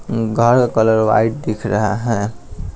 घर का colour white दिख रहा है ।